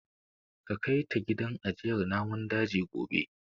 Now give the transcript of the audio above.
Ka kai ta gidan ajiyar namun daji gobe.